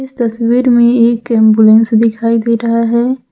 तस्वीर में एक एंबुलेंस दिखाई दे रहा है।